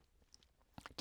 DR P2